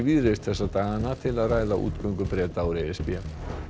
víðreist þessa dagana til að ræða útgöngu Breta úr e s b